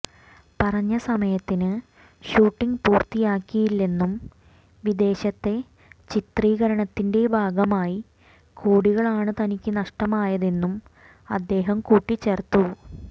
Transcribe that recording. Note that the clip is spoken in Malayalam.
പറഞ്ഞ സമയത്തിന് ഷൂട്ടിങ് പൂര്ത്തിയാക്കിയില്ലെന്നും വിദേശത്തെ ചിത്രീകരണത്തിന്റെ ഭാഗമായി കോടികളാണ് തനിക്ക് നഷ്ടമായതെന്നും അദ്ദേഹം കുട്ടിച്ചേർത്തു